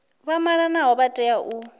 vha malanaho vha tea u